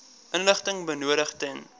inligting benodig ten